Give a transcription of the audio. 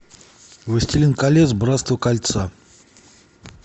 властелин колец братство кольца